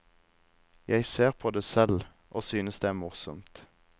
Jeg ser på det selv og synes det er morsomt.